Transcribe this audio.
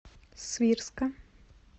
свирска